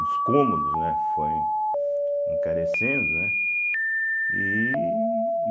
cômodos, né, foi encarecendo, né e